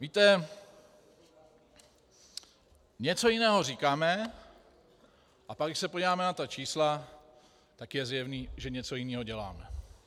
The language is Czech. Víte, něco jiného říkáme, a pak když se podíváme na ta čísla, tak je zjevné, že něco jiného děláme!